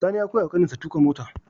Sani ya koya wa ƙanin shi tuƙa mota